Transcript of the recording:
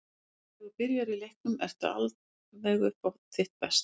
Þegar þú byrjar í leiknum ertu aldrei alveg upp á þitt besta.